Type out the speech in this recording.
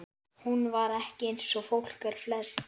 Hún var ekki eins og fólk er flest.